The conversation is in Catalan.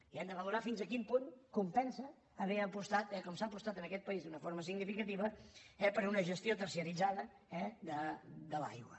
i hem de valorar fins a quin punt compensa haver apostat com s’ha apostat en aquest país d’una forma significativa per una gestió terciaritzada de l’aigua